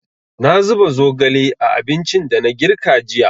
Na zuba zogale a abincin da na girka jiya.